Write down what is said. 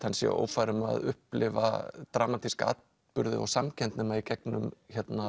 hann sé ófær um að upplifa dramatíska atburði og samkennd nema í gegnum